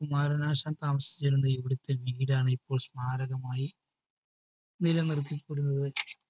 കുമാരനാശാന്‍ താമസിച്ചിരുന്ന ഇവിടത്തെ വീടാണിപ്പോള്‍ സ്മാരകമായി നിലനിര്‍ത്തി പോരുന്നത്.